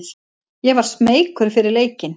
Ég var smeykur fyrir leikinn.